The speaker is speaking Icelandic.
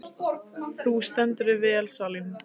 Þú stendur þig vel, Salín!